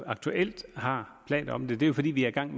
aktuelt har planer om det det er fordi vi er i gang